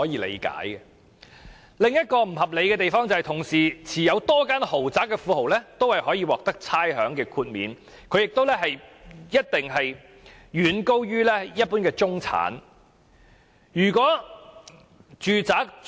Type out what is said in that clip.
另一個不合理的地方，是同時擁有多間豪宅的富豪亦可以獲得差餉豁免，豁免金額一定遠高於一般中產人士的收入。